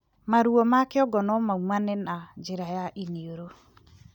Maruo ma kĩongo nomaumane na njira ya iniuru